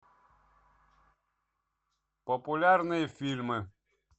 популярные фильмы